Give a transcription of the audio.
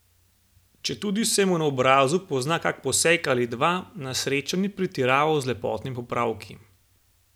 Četudi se mu na obrazu pozna kak poseg ali dva, na srečo ni pretiraval z lepotnimi popravki.